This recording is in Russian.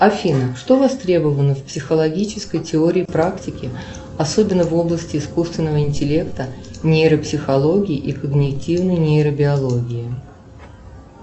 афина что востребовано в психологической теории практики особенно в области искусственного интеллекта нейропсихологии и когнитивной нейробиологии